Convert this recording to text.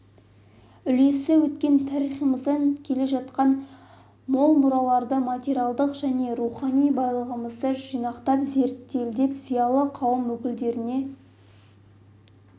үлесі өткен тарихымыздан жеткен мол мұраларды материалдық және рухани байлығымызды жинақтап зерделеп зиялы қауым өкілдеріне